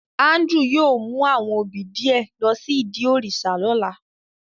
Andrew yóò mu awọn obí diẹ lo si idi òrìṣà lọla.